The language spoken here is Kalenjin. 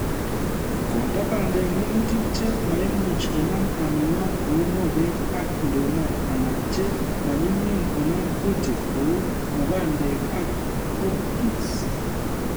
Kolde bandek minutik che maimuchi Konam armyworm kou mogek ak nduma anan che manyumnyum konam kuutik kou mukandek ak cowpeas